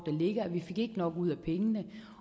ligger at vi ikke fik nok ud af pengene